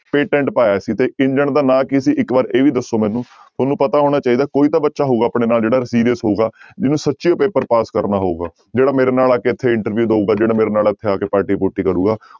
Patent ਪਾਇਆ ਸੀ ਤੇ ਇੰਜਣ ਦਾ ਨਾਂ ਕੀ ਸੀ ਇੱਕ ਵਾਰ ਇਹ ਵੀ ਦੱਸੋ ਮੈਨੂੰ, ਤੁਹਾਨੂੰ ਪਤਾ ਹੋਣਾ ਚਾਹੀਦਾ ਕੋਈ ਤਾਂ ਬੱਚਾ ਹੋਊਗਾ ਆਪਣੇ ਨਾਲ ਜਿਹੜਾ serious ਹੋਊਗਾ ਜਿਹਨੂੰ ਸੱਚੀ ਹੋਈ ਪੇਪਰ ਪਾਸ ਕਰਨਾ ਹੋਊਗਾ, ਜਿਹੜਾ ਮੇਰੇ ਨਾਲ ਆ ਕੇ ਇੱਥੇ interview ਦਊਗਾ ਜਿਹੜਾ ਮੇਰੇ ਨਾਲ ਇੱਥੇ ਆ ਕੇ ਪਾਰਟੀ ਪੂਰਟੀ ਕਰੇਗਾ।